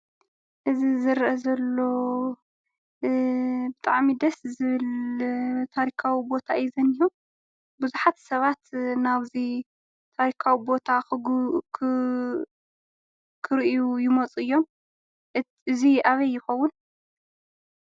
እዚ ዝርአ ዘሎ ብ ብጣዕሚ ደስ ዝብል ታሪካዊ ቦታ እዩ ዘኒሆ። ቡዙሓት ሰባት ናብዚ ታሪካዊ ቦታ ክጥ ክ ክርእዩ ይመፁ እዮም። እዚ ኣበይ ይኸዉን?